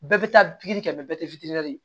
Bɛɛ bɛ taa pikiri kɛ mɛ bɛɛ tɛ fitinin ye